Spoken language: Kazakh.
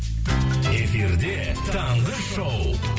эфирде таңғы шоу